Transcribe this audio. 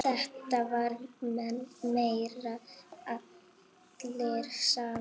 Þetta var meira allir saman.